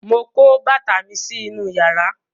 mọ kó bàtà mí sí inú iyàrá